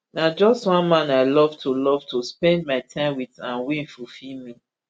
na just one man i love to love to spend my time wit and wey fulfil me